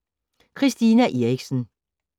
Christina Eriksen: